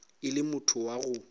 e le motho wa go